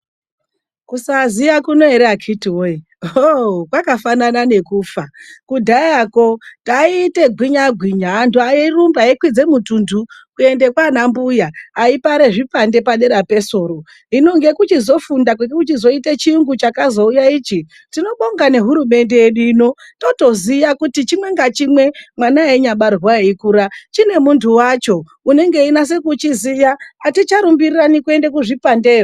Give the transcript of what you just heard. Kusaaziya kunoere akitiwoye, ohoo, kwakafanana nekufa. Kudhayako taiite gwinya agwinya, antu airumba, aikwidze mutunthu kuende kwaana mbuya aipare zvipande padera pesoro. Hino ngekuchizofunda kwekuchizoite chiyungu chakazouya ichi, tinobonga nehurumende yedu ino. Totoziya kuti chimwe ngachimwe, mwana wainyabarwe ayikura, chine muntu wacho. Unenge einase kuchiziya. Haticharumbirirani kuenda kuzvipandeyo.